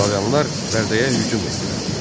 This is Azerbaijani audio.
Slaviyalılar Bərdəyə hücum etdilər.